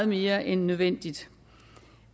mere end nødvendigt